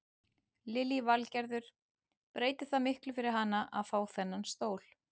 Lillý Valgerður: Breytir það miklu fyrir hana að fá þennan stól?